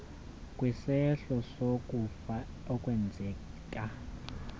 kwisehlo sokufa okwenzeka